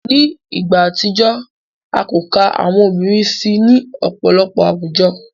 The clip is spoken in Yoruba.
Ni igba atijọ, a ko ka awọn obirin si ni ọpọlọpọ awujo.